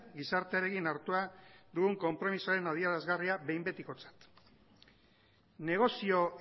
gizartearekin hartua dugun konpromezuaren adierazgarria behin betikotzat negozio